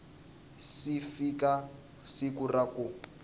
si fika siku ra ku